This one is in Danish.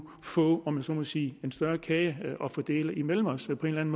få om jeg så må sige en større kage at fordele imellem os på en